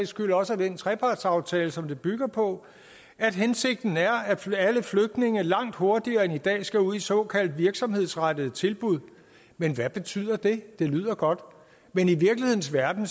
skyld også af den trepartsaftale som det bygger på at hensigten er at alle flygtninge langt hurtigere end i dag skal ud i såkaldt virksomhedsrettede tilbud men hvad betyder det det lyder godt men i virkelighedens verden